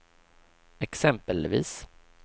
exempelvis